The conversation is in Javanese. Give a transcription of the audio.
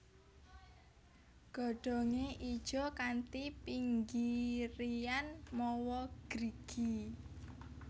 Godhongé ijo kanthi pinggirian mawa grigi